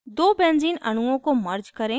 दो benzene अणुओं को merge करें